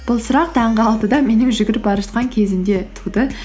бұл сұрақ таңғы алтыда менің жүгіріп бара жатқан кезімде туды